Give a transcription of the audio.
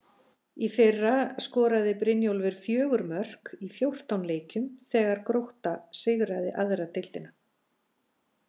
Í fyrra skoraði Brynjólfur fjögur mörk í fjórtán leikjum þegar að Grótta sigraði aðra deildina.